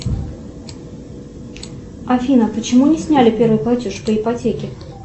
афина почему не сняли первый платеж по ипотеке